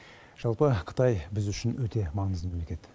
жалпы қытай біз үшін өте маңызды мемлекет